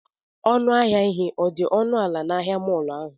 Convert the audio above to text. ọnụ ahịa ihe dị ọnụ ala na ahịa mọọlụ ahụ?